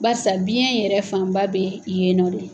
Baarisa biɲɛ yɛrɛ fanba bɛ yen nɔ de.